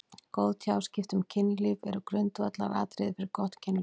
Góð tjáskipti um kynlíf eru grundvallaratriði fyrir gott kynlíf.